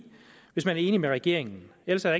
hvis man er enig med regeringen ellers er